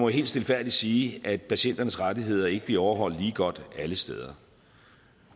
helt stilfærdigt sige at patienternes rettigheder ikke bliver overholdt lige godt alle steder